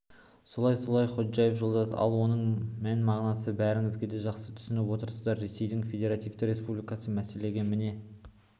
солай-солай ходжаев жолдас ал оның мән-мағынасын бәріңіз де жақсы түсініп отырсыздар ресейдің федеративті республикасы мәселеге міне